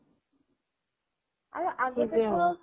আৰু